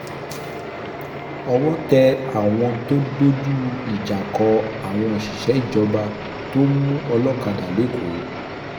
owó tẹ àwọn tó dojú ìjà kọ àwọn òṣìṣẹ́ ìjọba tó ń mú olókàdá lẹ́kọ̀ọ́